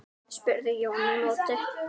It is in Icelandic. spurði Jón í móti.